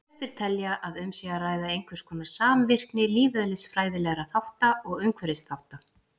Flestir telja að um sé að ræða einhverskonar samvirkni lífeðlisfræðilegra þátta og umhverfisþátta.